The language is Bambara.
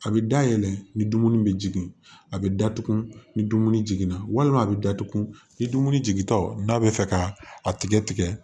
A bɛ dayɛlɛ ni dumuni bɛ jigin a bɛ datugu ni dumuni jiginna walima a bɛ datugu ni dumuni jigintaw n'a bɛ fɛ ka a tigɛ tigɛ tigɛ